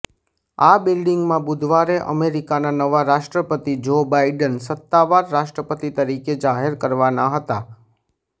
આ બિલ્ડિંગમાં બુધવારે અમેરિકાના નવા રાષ્ટ્રપતિ જો બાઈડન સત્તાવાર રાષ્ટ્રપતિ તરીકે જાહેર કરવાના હતાં